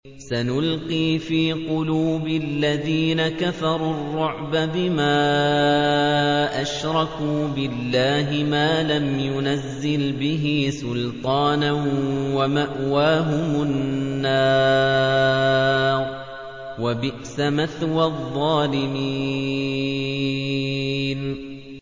سَنُلْقِي فِي قُلُوبِ الَّذِينَ كَفَرُوا الرُّعْبَ بِمَا أَشْرَكُوا بِاللَّهِ مَا لَمْ يُنَزِّلْ بِهِ سُلْطَانًا ۖ وَمَأْوَاهُمُ النَّارُ ۚ وَبِئْسَ مَثْوَى الظَّالِمِينَ